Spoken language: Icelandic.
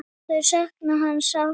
Þau sakna hans sárt.